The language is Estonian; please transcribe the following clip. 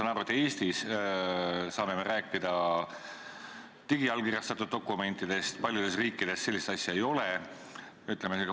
Ma saan aru, et Eestis me saame rääkida digiallkirjastatud dokumentidest, kuid paljudes riikides sellist asja ei ole.